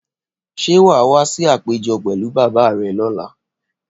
Ṣé wà á wá sí àpéjọ pẹ̀lú bàbá rẹ lọ́la?